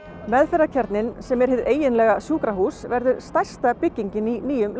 meðferðarkjarninn sem er hið eiginlega sjúkrahús er stærsta byggingin í nýjum